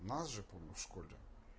нас же помню в школе